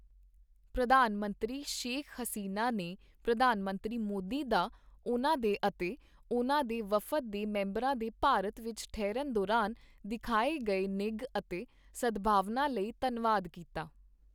ਪ੍ਰਧਾਨ ਮੰਤਰੀ ਸ਼ੇਖ ਹਸੀਨਾ ਨੇ ਪ੍ਰਧਾਨ ਮੰਤਰੀ ਮੋਦੀ ਦਾ ਉਨ੍ਹਾਂ ਦੇ ਅਤੇ ਉਨ੍ਹਾਂ ਦੇ ਵਫਦ ਦੇ ਮੈਂਬਰਾਂ ਦੇ ਭਾਰਤ ਵਿੱਚ ਠਹਿਰਨ ਦੌਰਾਨ ਦਿਖਾਏ ਗਏ ਨਿੱਘ ਅਤੇ ਸਦਭਾਵਨਾ ਲਈ ਧੰਨਵਾਦ ਕੀਤਾ।